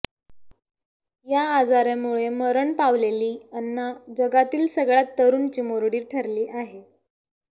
या आजारामुळे मरण पावलेली अन्ना जगातील सगळ्यात तरुण चिमुरडी ठरली आहे